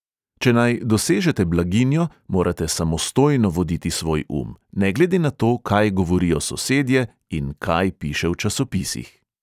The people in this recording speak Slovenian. Če naj dosežete blaginjo, morate samostojno voditi svoj um – ne glede na to, kaj govorijo sosedje in kaj piše v časopisih.